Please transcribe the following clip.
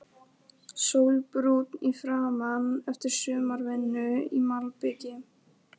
Sólbrúnn í framan eftir sumarvinnu í malbiki.